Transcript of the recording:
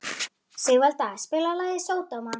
Rósbjörg, hvernig er veðrið í dag?